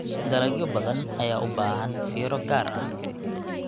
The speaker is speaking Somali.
Dalagyo badan ayaa u baahan fiiro gaar ah.